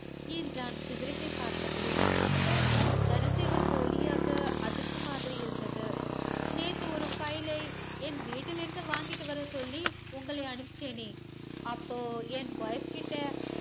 என்றான் சிகரட்டை பார்த்த படி sir தனசேகர் போலியாக அதிர்ந்த மாதிரி இருந்தது நேத்து ஒரு file ஐ என்வீட்டில் இருந்து வாங்கிட்டு வர சொல்லி உங்களை அமிச்சனே அப்போ என் wife கிட்ட